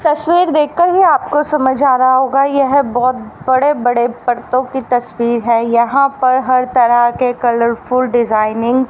तस्वीर देखकर ही आपको समझ आ रहा होगा यह बहुत बड़े बड़े पड़तों की तस्वीर है यहां पर हर तरह के कलरफुल डिजाइनिंग --